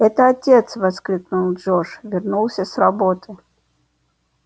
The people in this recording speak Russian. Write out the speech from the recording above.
это отец воскликнул джордж вернулся с работы